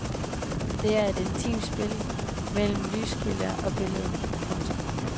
Der er et intimt spil mellem lyskilde og billede. punktum